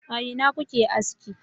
a ina kuke aski